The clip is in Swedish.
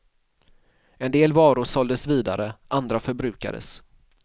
En del varor såldes vidare, andra förbrukades.